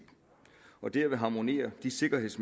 og derved harmonerer de sikkerheds